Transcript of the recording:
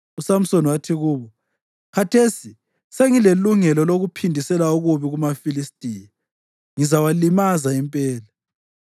USamsoni wathi kubo, “Khathesi sengilelungelo lokuphindisela okubi kumaFilistiya. Ngizawalimaza impela.”